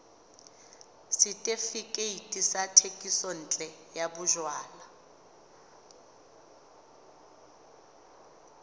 setefikeiti sa thekisontle ya bojalwa